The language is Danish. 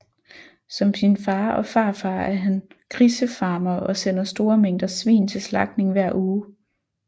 Som sin far og farfar er han grisefarmer og sender store mængder svin til slagtning hver uge